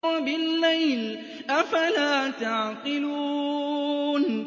وَبِاللَّيْلِ ۗ أَفَلَا تَعْقِلُونَ